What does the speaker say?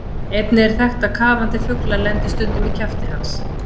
Einnig er þekkt að kafandi fuglar lendi stundum í kjafti hans.